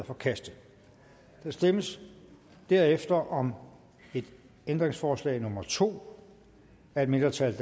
forkastet der stemmes derefter om ændringsforslag nummer to af et mindretal